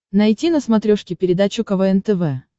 найти на смотрешке передачу квн тв